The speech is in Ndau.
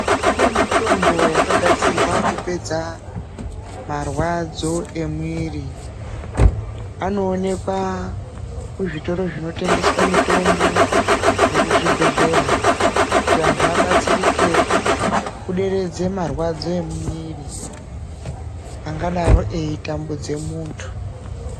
Kune mitombo yakagadzirwa kupedza marwadzo emwiri anoonekwa kuzvitoro zvinotengeswa mitombo nekuzvibhedhlera kuti vantu vabatsirike kudereze marwadzo emumwiri angadaro echitambudze muntu .